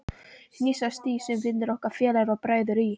Hnýsast í það, sem vinir okkar, félagar og bræður í